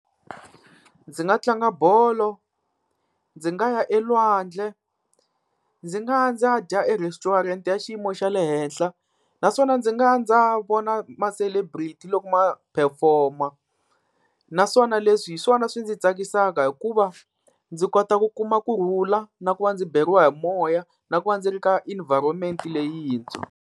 Ndzi nga tlanga bolo, ndzi nga ya elwandle, ndzi nga ya ndzi ya dya e-restaurant ya xiyimo xa le henhla. Naswona ndzi nga ya ndzi ya vona ma-celebrity loko ma-perform-a. Naswona leswi hi swona swi ndzi tsakisaka hikuva ndzi kota ku kuma kurhula, na ku va ndzi beriwa hi moya, na ku va ndzi ri ka environment leyintshwa.